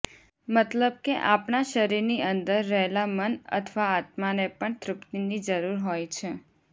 મતલબ કે આપણા શરીરની અંદર રહેલા મન અથવા આત્માને પણ તૃપ્તીની જરુર હોય છે